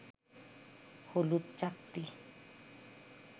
হলুদ চাকতি